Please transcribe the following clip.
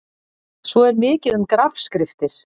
Svo er mikið um grafskriftir.